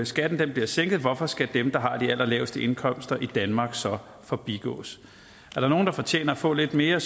skatten bliver sænket hvorfor skal dem der har de allerlaveste indkomster i danmark så forbigås er der nogen der fortjener at få lidt mere